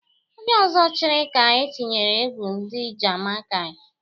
Onye ọzọ chọrọ ka etinyere ya egwu ndị Jamaika